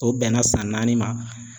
O bɛnna san naani ma.